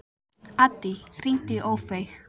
Addý, hringdu í Ófeig.